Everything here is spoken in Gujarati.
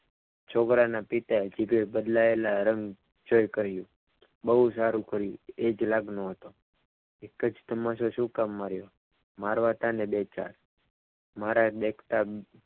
છોકરાના પિતાએ સિગરે બદલાયેલા રંગ ફેર કર્યો બહુ સારું કર્યું એ જ લાગનો હતો એક જ તમાચો શું કામ માર્યો? મારવાતાને બે ચાર મારે બે